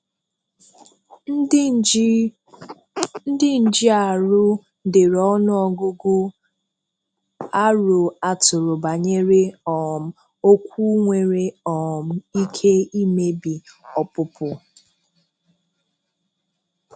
Ndị nji arụ dere ọnụ ọgụgụ aro atụrụ banyere um okwu nwere um ike imebi ọpụpụ.